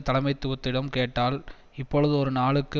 தலைமைத்துவத்திடம் கேட்டால் இப்போது ஒரு நாளுக்கு